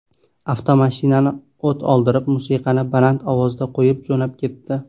Avtomashinani o‘t oldirib, musiqani baland ovozda qo‘yib jo‘nab ketdi.